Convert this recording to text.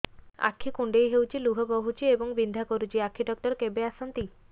ଆଖି କୁଣ୍ଡେଇ ହେଉଛି ଲୁହ ବହୁଛି ଏବଂ ବିନ୍ଧା କରୁଛି ଆଖି ଡକ୍ଟର କେବେ ଆସନ୍ତି